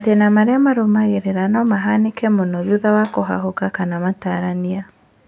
Matĩna marĩa marũmagĩrĩra no mahanĩke mũno thutha wa kũhahũka kana matarania